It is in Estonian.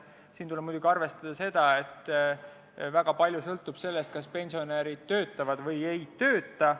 Siin tuleb muidugi arvestada seda, et väga palju sõltub sellest, kas pensionärid töötavad või ei tööta.